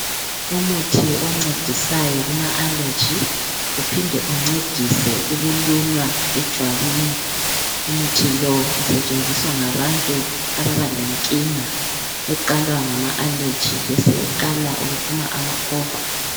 Umuthi oncedisayo kuma aleji, uphinde uncedise ukulunywa ejwabini. Umuthi lowu usentshenziswa ngabantu ababalenkinga eqalwa ngama aleji besebeqala ukuphuma amakhovula.